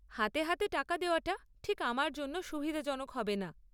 হাতে হাতে টাকা দেওয়াটা ঠিক আমার জন্য সুবিধাজনক হবেনা।